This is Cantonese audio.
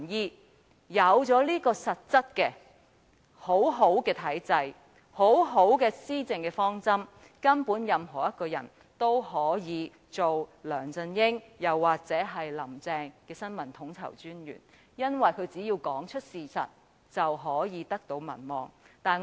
當擁有這種實質而良好的體制和施政方針後，任何人都能夠擔任梁振英或"林鄭"的新聞統籌專員，因為他們屆時只須說出事實，便可得到民望。